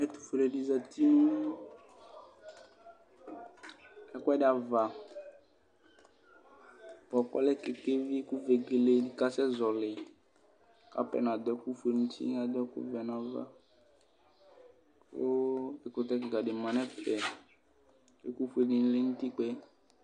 Ɛtʋfuele di zati nʋ ɛkʋɛdi ava bʋakʋ ɔlɛ kekevi kʋ vegele asɛzɔli kʋ atani adʋ ɛkʋfue nʋ uti kʋ ɛdini adʋ ɛkʋvɛ nʋ ava kʋ ɛkʋtɛ kikadi manʋ ɛfɛ kʋ ɛkʋfue di manʋ utikpa yɛ